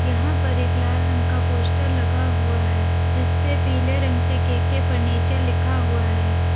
यहां पर एक लाल रंग का पोस्टर लगा हुआ है जिस पर पीले रंग से के_के फर्नीचर लिखा हुआ है।